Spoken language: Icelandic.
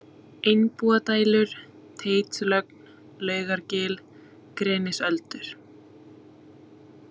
Einbúadælur, Teitslögn, Laugargil, Grenisöldur